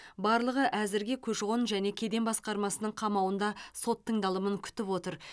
барлығы әзірге көші қон және кеден басқармасының қамауында сот тыңдалымын күтіп отыр